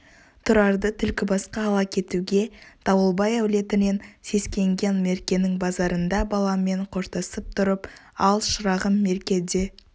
тұрарды түлкібасқа ала кетуге дауылбай әулетінен сескенген меркенің базарында баламен қоштасып тұрып ал шырағым мерке де